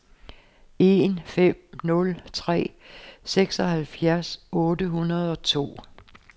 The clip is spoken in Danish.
en fem nul tre seksoghalvfjerds otte hundrede og to